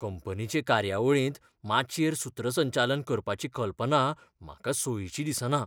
कंपनीचे कार्यावळींत माचयेर सूत्रसंचालन करपाची कल्पना म्हाका सोयीची दिसना.